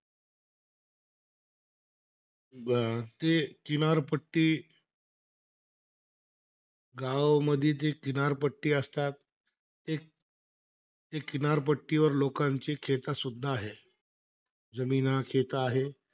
अं ते किनारपट्टी, गावामध्ये ते किनारपट्टी असतात. ते त्या किनारपट्टीवर लोकांचे सुद्धा आहे. जमीना, आहेत.